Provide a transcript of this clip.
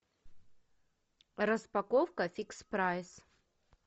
распаковка фикс прайс